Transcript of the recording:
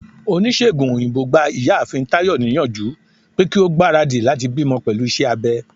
onisegùn oyinbo gbá ìyáàfín Tayo niyanju pe ki o gbarádí latí bimò pelú iṣẹ abé.